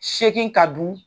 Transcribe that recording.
Seegin ka du